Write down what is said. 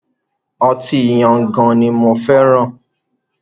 Ọtí Yangan ni mo fẹ́ràn.